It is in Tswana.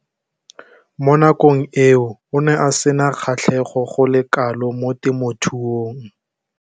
Mo nakong eo o ne a sena kgatlhego go le kalo mo temothuong.